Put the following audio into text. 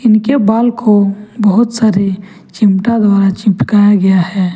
इनके बाल को बहुत सारे चिमटा द्वारा चिपकाया गया है।